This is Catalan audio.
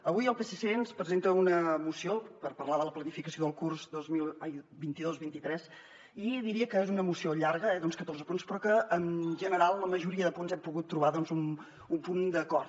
avui el psc ens presenta una moció per parlar de la planificació del curs vint dos vint tres i diria que és una moció llarga eh d’uns catorze punts però que en general en la majoria de punts hem pogut trobar un punt d’acord